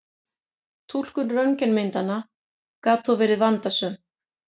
Túlkun röntgenmyndanna gat þó verið vandasöm.